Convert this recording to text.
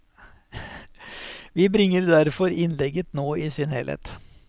Vi bringer derfor innlegget nå i sin helhet.